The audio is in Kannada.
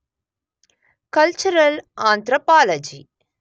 cultural anthropology